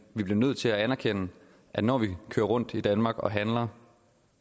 vi bliver nødt til at anerkende at når vi kører rundt i danmark og handler